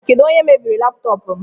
Kedu onye mebiri laptọọpụ m?